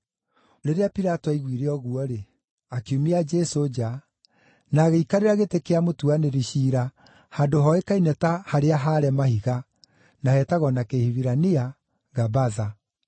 Rĩrĩa Pilato aiguire ũguo-rĩ, akiumia Jesũ nja, na agĩikarĩra gĩtĩ kĩa mũtuanĩri ciira handũ hoĩkaine ta “Harĩa-haare-Mahiga” (na heetagwo na Kĩhibirania Gabatha).